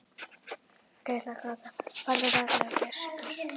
Farðu varlega gæskur.